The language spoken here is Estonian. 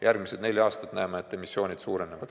Järgmised neli aastat näeme, et emissioon suureneb.